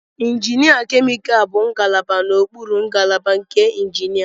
Injinia Chemical bụ ngalaba n'okpuru ngalaba nke injinia.